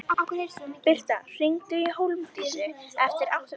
Birta, hringdu í Hólmdísi eftir áttatíu mínútur.